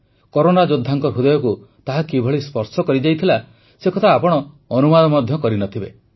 corona ଯୋଦ୍ଧାଙ୍କ ହୃଦୟକୁ ତାହା କିଭଳି ସ୍ପର୍ଶ କରିଯାଇଥିଲା ସେକଥା ଆପଣ ଅନୁମାନ ମଧ୍ୟ କରି ନ ଥିବେ